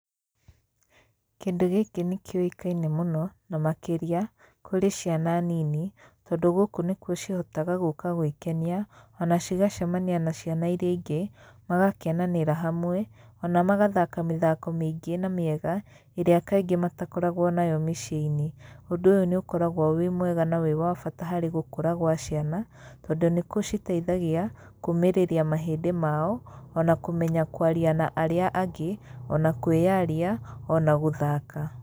Kĩndũ gĩkĩ nĩ kĩũkaine mũno na makĩria kũrĩ ciana nini, tondũ gũkũ nĩkuo cihotaga gũka gwĩkenia ona cigacemania na ciana irĩa ingĩ, magakenanĩra hamwe ona magathaka mĩthako mĩingĩ na mĩega ĩrĩa kaingĩ matakoragwo nayo mĩciĩ-inĩ. Ũndũ ũyũ nĩ ũkoragwo wĩ mwega na wĩ wa bata harĩ gũkũra gwa ciana, tondũ nĩ gũciteithagia kũmĩrĩria mahĩndĩ mao, ona kũmenya kwaria na arĩa angĩ, ona kwĩyaria, ona gũthaka.